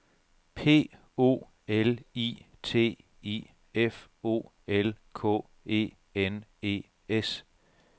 P O L I T I F O L K E N E S